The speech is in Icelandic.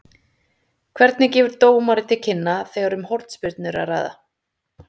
Hvernig gefur dómari til kynna þegar um hornspyrnu er að ræða?